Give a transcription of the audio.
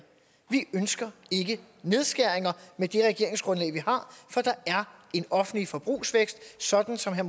vi ønsker ikke nedskæringer med det regeringsgrundlag vi har for der er en offentlig forbrugsvækst sådan som herre